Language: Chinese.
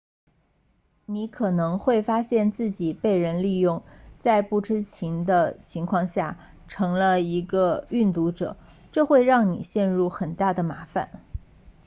你可能会发现自己被人利用在不知情的情况下成了一个运毒者这会让你陷入很大的麻烦